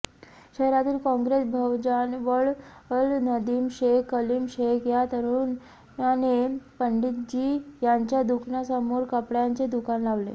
शहरातील काँग्रेस भवनाजवळ नदीम शेख कलीम शेख या तरुणाने पंडितजी यांच्या दुकानासमोर कपड्यांचे दुकान लावले